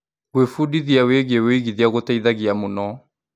Gwĩbundithia wĩgiĩ ũigithia gũteithagia mũno.